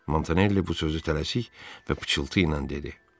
Montanelli bu sözü tələsik və pıçıltı ilə dedi.